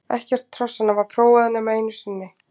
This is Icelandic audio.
Ekkert hrossanna var prófað nema einu sinni.